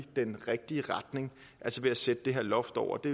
den rigtige retning altså ved at sætte det her loft over det